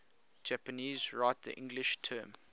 japanese write the english term